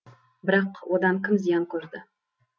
бірақ одан кім зиян көрді